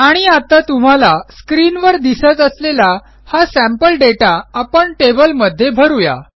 आणि आता तुम्हाला स्क्रीनवर दिसत असलेला हा सॅम्पल दाता आपण टेबलमध्ये भरू या